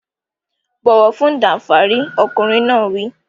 Bọ̀wọ̀ fún Danfari! Ọkùnrin náà wí.